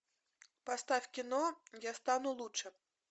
поставь кино я стану лучше